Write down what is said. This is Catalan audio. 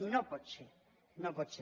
i no pot ser no pot ser